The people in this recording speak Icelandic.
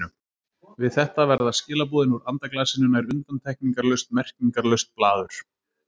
Við þetta verða skilaboðin úr andaglasinu nær undantekningarlaust merkingarlaust blaður.